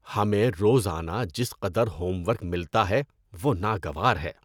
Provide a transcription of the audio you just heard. ہمیں روزانہ جس قدر ہوم ورک ملتا ہے وہ ناگوار ہے۔